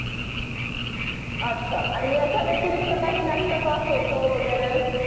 अच्छा आणि ह्याच्या व्यतरिरिक्त काही लागत का photo वगैरे